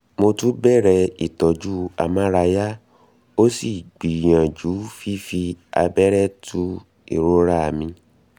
mo tún bẹ̀rẹ̀ ìtọ́jú amárayá ó sì gbìyàjú fífi abẹ́rẹ́ tu ìrora mi